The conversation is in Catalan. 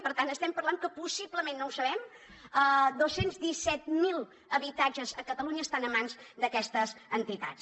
per tant estem parlant que possiblement no ho sabem dos cents i disset mil habitatges a catalunya estan a mans d’aquestes entitats